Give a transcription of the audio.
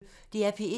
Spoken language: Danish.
DR P1